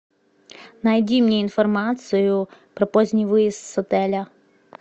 найди мне информацию про поздний выезд с отеля